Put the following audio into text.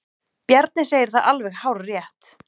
Bjarni segir það alveg hárrétt.